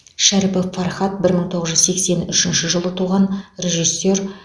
шәріпов фархат бір мың тоғыз жүз сексен үшінші жылы туған режиссер